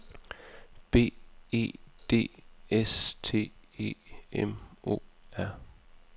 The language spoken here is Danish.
B E D S T E M O R